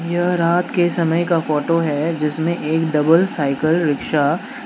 यह रात के समय का फोटो है जिसमें एक डबल साइकिल रिक्शा --